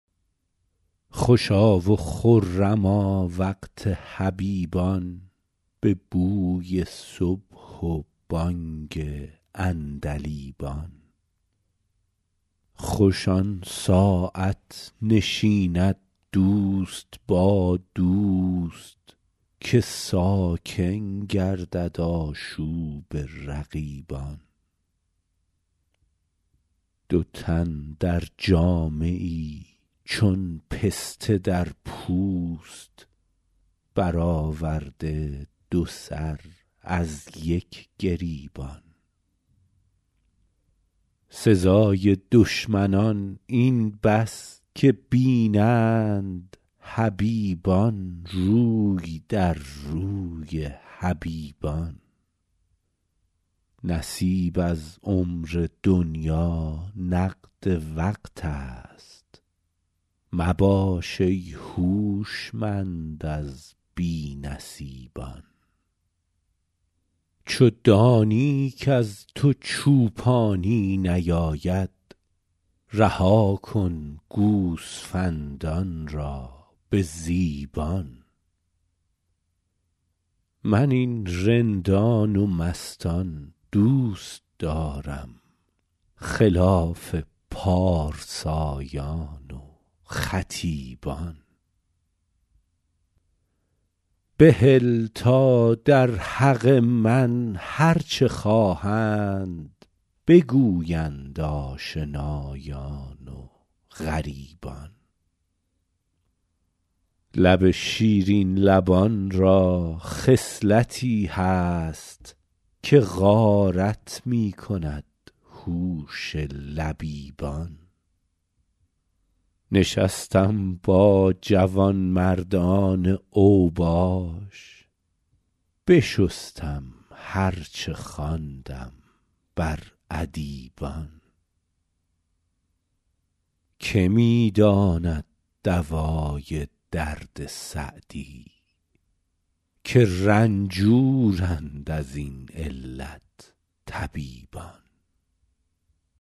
خوشا و خرما وقت حبیبان به بوی صبح و بانگ عندلیبان خوش آن ساعت نشیند دوست با دوست که ساکن گردد آشوب رقیبان دو تن در جامه ای چون پسته در پوست برآورده دو سر از یک گریبان سزای دشمنان این بس که بینند حبیبان روی در روی حبیبان نصیب از عمر دنیا نقد وقت است مباش ای هوشمند از بی نصیبان چو دانی کز تو چوپانی نیاید رها کن گوسفندان را به ذیبان من این رندان و مستان دوست دارم خلاف پارسایان و خطیبان بهل تا در حق من هر چه خواهند بگویند آشنایان و غریبان لب شیرین لبان را خصلتی هست که غارت می کند هوش لبیبان نشستم با جوانمردان اوباش بشستم هر چه خواندم بر ادیبان که می داند دوای درد سعدی که رنجورند از این علت طبیبان